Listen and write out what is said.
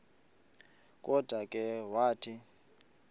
kodwa ke wathi